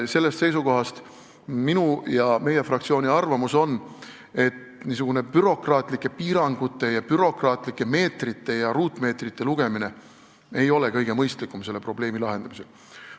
Sellest seisukohast mina ja meie fraktsioon arvame, et niisugused bürokraatlikud piirangud ning meetrite ja ruutmeetrite lugemine ei ole kõige mõistlikumad selle probleemi lahendamisel.